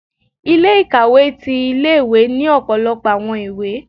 Ilé-ikawé tí ìlé-ìwé ni ọpọlọpọ awọn ìwé